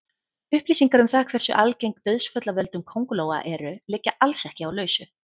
Upplýsingar um það hversu algeng dauðsföll af völdum köngulóa eru liggja alls ekki á lausu.